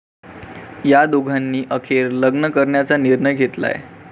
या दोघांनी अखेर लग्न करण्याचा निर्णय घेतलाय.